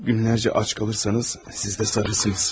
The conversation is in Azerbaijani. Günlərcə ac qalırsanız, siz də sarılırsınız.